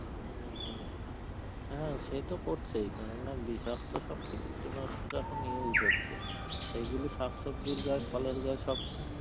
উম হম হ্যাঁ সে তো করছেই কেননা বিষাক্ত সব কীটনাশক এখন use হচ্ছে, সেইগুলো শাক সবজির গায়ে, ফলের গায়ে সব